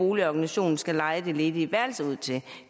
boligorganisationen skal leje det ledige værelse ud til